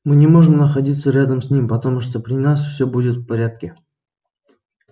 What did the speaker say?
мы не можем находиться рядом с ним потому что при нас всё будет в порядке